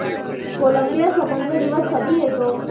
Colombia स्वातंत्र्य दिवस कधी येतो